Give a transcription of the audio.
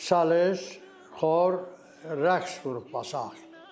Şalis, xor, rəqs qrupu var.